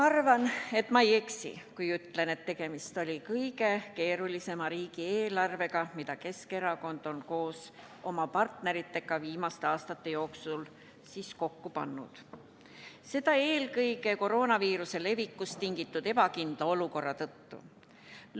Ma arvan, et ma ei eksi, kui ütlen, et tegemist oli kõige keerulisema riigieelarvega, mida Keskerakond on koos oma partneritega viimaste aastate jooksul kokku pannud, seda eelkõige koroonaviiruse levikust tingitud ebakindla olukorra tõttu.